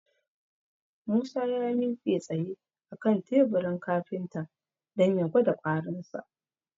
Musa ya miƙe tsaye a kan teburin kafintan dan ya gwada ƙwarinsa.